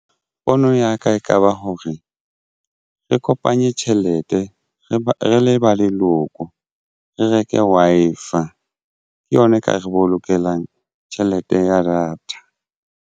Pono ya ka ekaba hore re kopanye tjhelete re be re le ba leloko re reke Wi-Fi ke yona e ka re bolokelang tjhelete ya data.